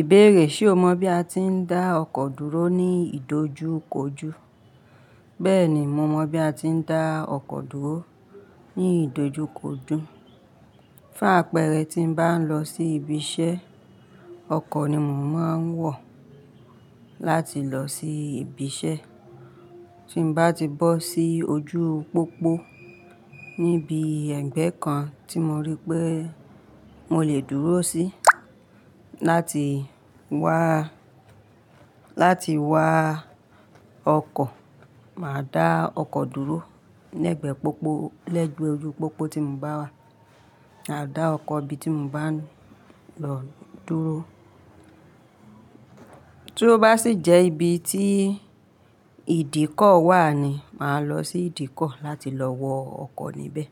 Ìbéèrè, ṣe o mọ bí a ti ń dá ọkọ̀ dúró ní ìdojúkojú? Bẹ́ẹ̀ni, mo mọ bí a ti ń dá ọkọ̀ dúró ní ìdojúkojú. Fún àpẹẹrẹ, tí n bá ń lọ sí ibi iṣẹ́, ọkọ̀ ni mò ń máa n wọ̀ láti lọ sí ibi iṣẹ́. Tí n bá ti bọ́ sí ojú pópó níbi ẹgbẹ́ kan tí mo rí pé mo lè dúró sí láti wá, láti wá ọkọ̀, màá dá ọkọ̀ dúró lẹ́gbẹ̀ẹ́ pópó, lẹ́gbẹ̀ẹ́ ojú pópó tí mo bá wà, màá dá ọkọ̀ ibi tí mo bá ń lọ dúró. Tí ó bá sì jẹ́ ibi tí ìdíkọ̀ wà ni màá lọ sí ìdíkọ̀ láti lọ wọ ọkọ̀ níbẹ̀.